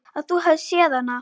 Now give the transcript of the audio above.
Að þú hafir séð hana?